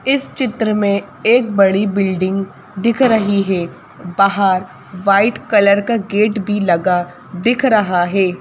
इस चित्र में एक बड़ी बिल्डिंग दिख रही है बाहर व्हाइट कलर का गेट भी लगा दिख रहा है।